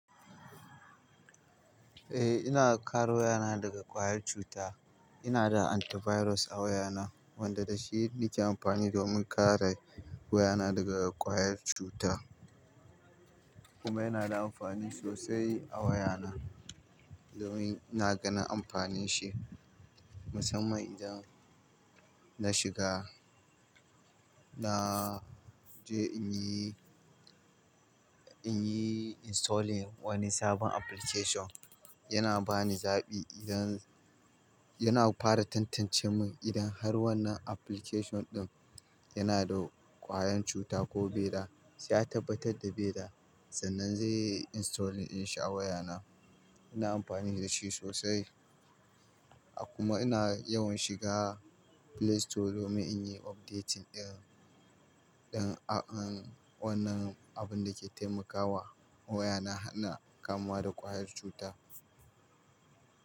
Eh, ina kare wayana daga ƙwayar cuta. Ina da antivirus a wayana wanda da shi ni ke amfani domin kare wayana daga ƙwayar cuta. Kuma yana da amfani sosai a wayana domin ina ganin amfanin shi musamman idan na shiga na je in yi, in yi installing wani sabon application yana ba ni zaɓi idan, yana fara tantance min idan har wannan application ɗin yana da ƙwayar cuta ko bai da. Sai ya tabbatar da bai da, sannan zai yi installing in shi a wayana. Ina amfani da shi sosai kuma ina yawan shiga Play Store domin in yi updating ɗin, don an wannan abun da ke taimakawa wayana hana kamuwa da ƙwayar cuta.